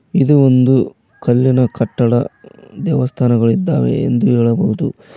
ಇದು ಒಂದು ಕಲ್ಲಿನ ಕಟ್ಟಡ ದೇವಸ್ಥಾನಗಳಿದ್ದಾವೆ ಎಂದು ಹೇಳಬಹುದು.